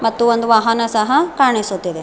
ಮತ್ತು ಒಂದು ವಾಹನ ಸಹ ಕಾನಿಸುತಿದೆ.